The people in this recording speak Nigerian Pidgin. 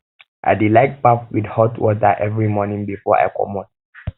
i dey like um baff wit hot water every morning before i comot